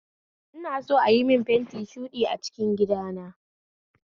Ina so ayi mun fenti shuɗi a cikin gidana